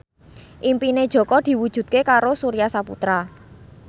impine Jaka diwujudke karo Surya Saputra